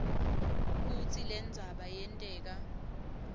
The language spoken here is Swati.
kutsi lendzaba yenteka